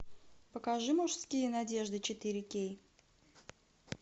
покажи мужские надежды четыре кей